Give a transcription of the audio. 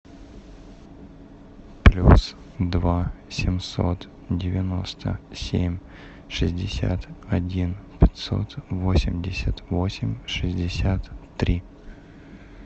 плюс два семьсот девяносто семь шестьдесят один пятьсот восемьдесят восемь шестьдесят три